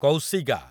କୌଶିଗା